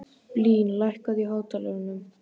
Blín, lækkaðu í hátalaranum.